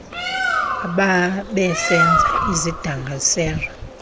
abebesenza isidanga sera